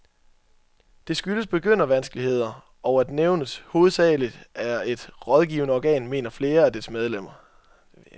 Det skyldes begyndervanskeligheder, og at nævnet hovedsageligt er et rådgivende organ, mener flere af dets medlemmer.